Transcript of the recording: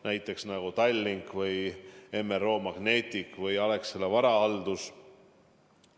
Näiteks võib tuua Tallinki, Magnetic MRO ja Alexela Varahalduse.